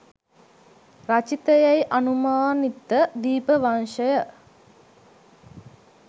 රචිතයැයි අනුමානිත දීපවංශය